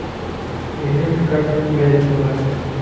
привет как у тебя дела